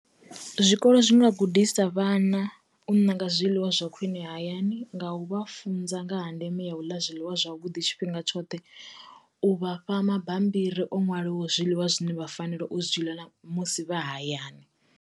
Zwikolo zwi nga gudisa vhana u ṋanga zwiḽiwa zwa khwine hayani, nga u vha funza nga ha ndeme ya u ḽa zwiḽiwa zwavhuḓi tshifhinga tshoṱhe, u vha fha mabambiri o ṅwaliwaho zwiḽiwa zwine vha fanela u zwi ḽa na musi vha hayani.